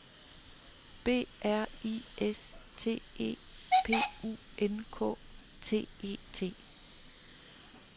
B R I S T E P U N K T E T